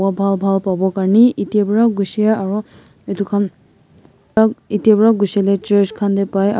bhal bhal pabo karni ite wa jushey aru itu khan ite wa jushi leh church khan teh pai.